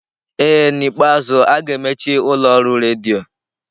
Ee n'ikpeazụ, a ga-emechi ụlọ ọrụ redio.